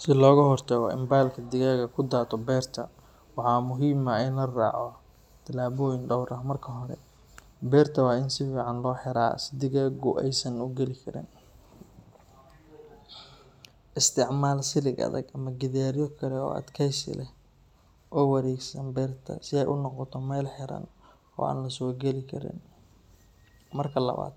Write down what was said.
Si looga hortago in balka digaaga ku daato beerta, waxaa muhiim ah in la raaco tallaabooyin dhowr ah. Marka hore, beerta waa in si fiican loo xiraa si digaagu aysan u geli karin. Isticmaal silig adag ama gidaaryo kale oo adkeysi leh oo wareegsan beerta si ay u noqoto meel xiran oo aan la soo geli karin. Marka labaad,